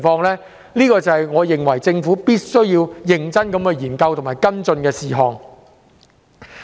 這些都是我認為政府必須認真研究和跟進的事項。